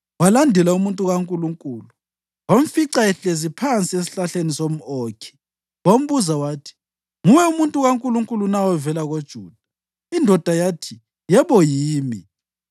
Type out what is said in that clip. walandela umuntu kaNkulunkulu, wamfica ehlezi ngaphansi kwesihlahla somʼOkhi wambuza wathi, “Nguwe umuntu kaNkulunkulu na ovela koJuda?” Indoda yathi, “Yebo yimi.”